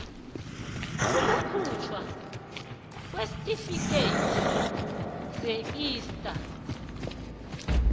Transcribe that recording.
ukukhujthwa kweentifikhethi zeista